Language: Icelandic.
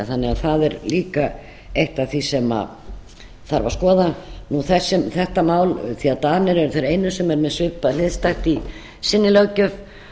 að það er líka eitt af því sem þarf að skoða þetta mál því að danir eru þeir einu sem eru með hliðstætt í sinni löggjöf